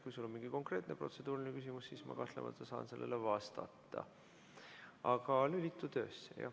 Kui sul on mingi konkreetne protseduuriline küsimus, siis ma saan sellele vastata.